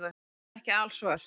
Hún er ekki alsvört.